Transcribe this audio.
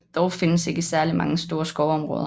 Dog findes ikke særligt mange store skovområder